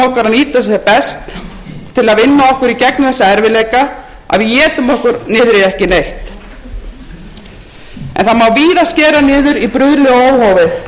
nýta sem best til að vinna okkur í gegnum þessa erfiðleika að við étum okkur ekki niður í ekki neitt en það má víða skera niður í bruðli og óhófi sem viðgengst hefur jafnt í opinbera